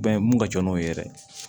Bɛn mun ka jɔn n'o ye yɛrɛ